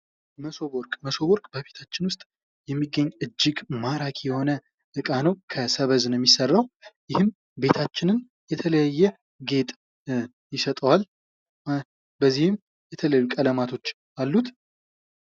መሶብ ወርቅ ፦ መሶብ ወርቅ በቤታችን ውስጥ የሚገኝ እጅግ ማራኪ የሆነ እቃ ነው ።ከሰበዝ ነው የሚሰራው ይህም ቤታችንን የተለያየ ጌጥ ይሰጠዋል ። በዚህም የተለያዩ ቀለማቶች አሉት ።